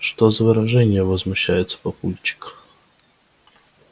что за выражения возмущается папульчик